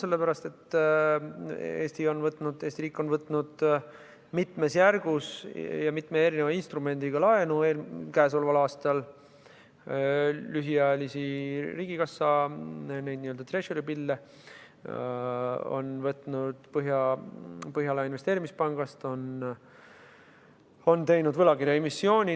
Eesti riik on käesoleval aastal võtnud laenu mitmes järgus ja mitme erineva instrumendiga, on võtnud lühiajalisi riigikassa n-ö treasury bill'e Põhjala Investeerimispangast, on teinud võlakirjaemissiooni.